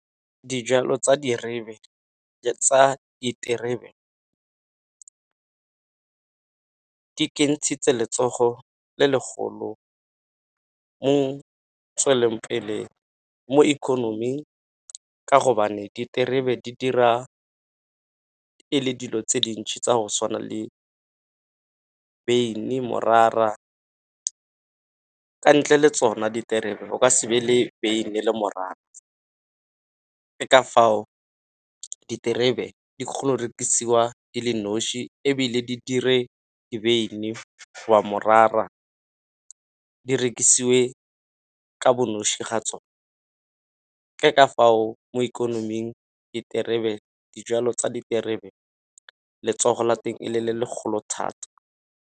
Dijalo tsa diterebe di kentshitse letsogo le legolo mo tswelelong pele mo ikonoming. Ka gobane diterebe di dira ka e le dilo tse dintšhi tsa go tshwana le beine, morara ka ntle le tsona diterebe o ka se be le beine le morara. Ke ka fao diterebe di kgona go rekisiwa di le noši, ebile di dire beine go ba morara di rekisiwe ka bo noši ga tsona. Ke ka fao mo ikonoming diterebe, dijwalo tsa diterebe letsogo la teng e le le legolo thata.